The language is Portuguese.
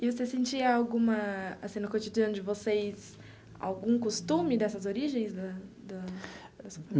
E você sentia alguma, assim, no cotidiano de vocês, algum costume dessas origens da da da sua família?